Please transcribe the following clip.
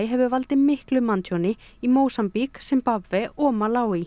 hefur valdið miklu manntjóni í Mósambík Simbabve og Malaví